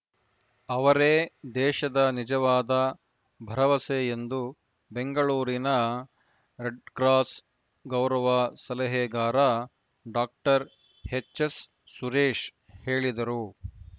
ಅವರೇ ದೇಶದ ನಿಜವಾದ ಭರವಸೆ ಎಂದು ಬೆಂಗಳೂರಿನ ರೆಡ್‌ಕ್ರಾಸ್‌ ಗೌರವ ಸಲಹೆಗಾರ ಡಾಕ್ಟರ್ ಎಚ್‌ಎಸ್‌ ಸುರೇಶ ಹೇಳಿದರು